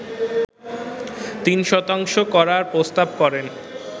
৩ শতাংশ করার প্রস্তাব করেন